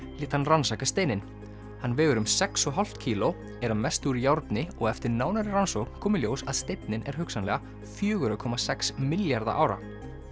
lét hann rannsaka steininn hann vegur um sex og hálft kíló er að mestu úr járni og eftir nánari rannsókn kom í ljós að steinninn er hugsanlega fjögurra komma sex milljarða ára